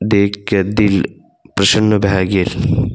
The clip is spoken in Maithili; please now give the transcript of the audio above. देख के दिल प्रसन्न भए गेल।